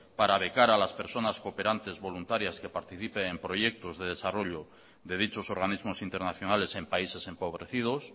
para becar a las personas cooperantes voluntarias que participen en proyectos de desarrollo de dichos organismos internacionales en países empobrecidos